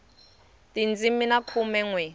tindzimi ta khume nwe